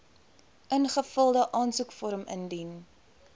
ingevulde aansoekvorm indien